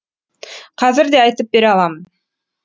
қазір де айтып бере аламын